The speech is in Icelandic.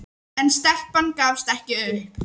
En stelpan gafst ekki upp.